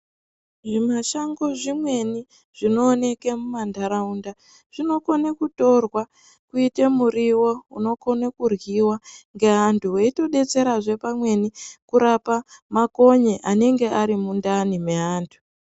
Zvimashango zvimweni zvinooneke mumantaraunda zvinokone kutorwa kuite muriwo unokone kuryiwa ngeantu weitodetserazve pamweni kurapa makonye anenge ari mundani meantu.